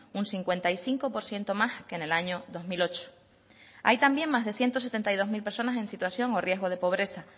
un cincuenta y cinco por ciento más que en el año dos mil ocho hay también más de ciento setenta y dos mil personas en situación o riesgo de pobreza